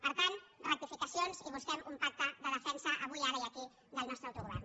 per tant rectificacions i busquem un pacte de defensa avui ara i aquí del nostre autogovern